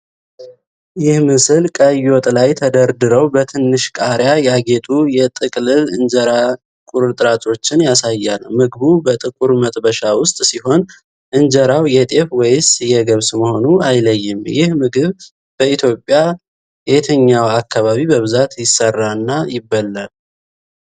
ይህ ምስል ቀይ ወጥ ላይ ተደርድረው በትንሽ ቃሪያ ያጌጡ የጥቅልል እንጀራ ቁርጥራጮችን ያሳያል። ምግቡ በጥቁር መጥበሻ ውስጥ ሲሆን፣ እንጀራው የጤፍ ወይስ የገብስ መሆኑ አይለይም። ይህ ምግብ በየትኛው የኢትዮጵያ አካባቢ በብዛት ይሰራና ይበላል?